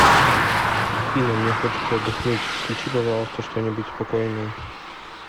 афина мне хочется отдохнуть включи пожалуйста что нибудь спокойное